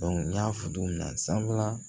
n y'a fɔ cogo min na sanfɛla